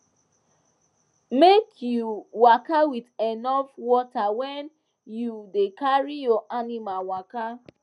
make u waka with enough water when you da carry your animals waka